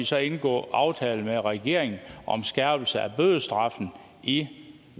så indgå aftale med regeringen om skærpelse af bødestraffen i